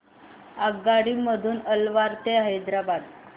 आगगाडी मधून अलवार ते हैदराबाद